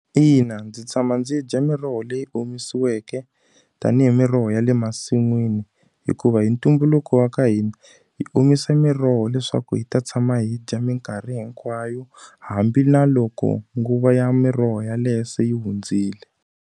Ina ndzi tshama ndzi dya miroho leyi omisiweke, tanihi miroho ya le masin'wini. Hikuva hi ntumbuluko wa ka hina, hi omise miroho leswaku hi ta tshama hi dya minkarhi hinkwayo. Hambi na loko nguva ya miroho yaleyo se yi hundzile.